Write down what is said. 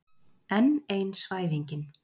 Enn ein svæfingin.